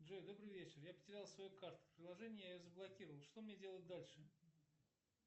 джой добрый вечер я потерял свою карту в приложении я ее заблокировал что мне делать дальше